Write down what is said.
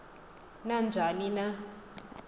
na njani na